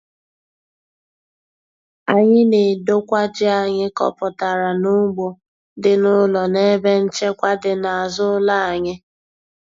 Anyị na-edokwa ji anyị kọpụtara n'ugbo dị n'ụlọ n'ebe nchekwa dị n'azụ ụlọ anyị.